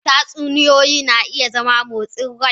Tatsuniyoyi na iya zama motsin rai.